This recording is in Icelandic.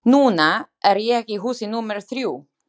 Núna er ég í húsi númer þrjú.